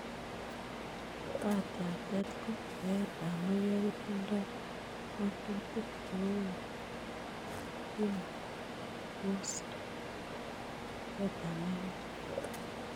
baat yatet ko eet ab mayek kotindoi ngotutik che korom chetyeme kobos eet ab maiwek